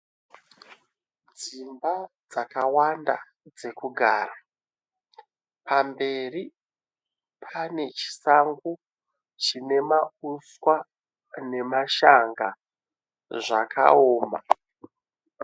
Dzimba dzakawanda dzekugara. Pamberi pane chisango chine mauswa nemashanga zvakaoma.